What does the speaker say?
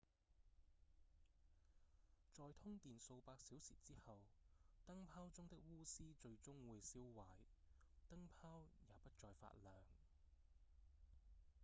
在通電數百小時之後燈泡中的鎢絲最終會燒壞燈泡也不再發亮